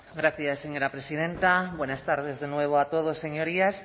gracias señora presidenta buenas tardes de nuevo a todos señorías